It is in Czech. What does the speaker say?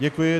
Děkuji.